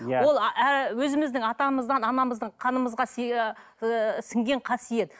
өзіміздің атамыздан анамыздың қанымызға ыыы сінген қасиет